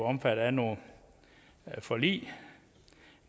omfattet af nogle forlig